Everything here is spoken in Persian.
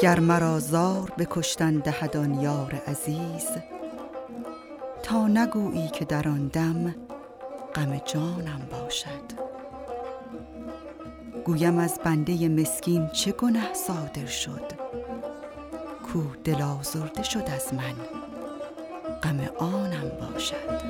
گر مرا زار به کشتن دهد آن یار عزیز تا نگویی که در آن دم غم جانم باشد گویم از بنده مسکین چه گنه صادر شد کاو دل آزرده شد از من غم آنم باشد